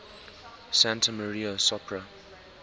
santa maria sopra